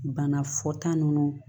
Bana fɔta ninnu